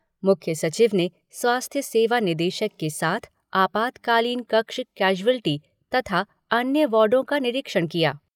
मुख्य सचिव ने स्वास्थ्य सेवा निदेशक के साथ आपातकालीन कक्ष कैशुअल्टी तथा अन्य वार्डों का निरीक्षण किया।